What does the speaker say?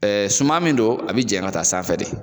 Ɛɛ suman min don a bi janya ka ta sanfɛ de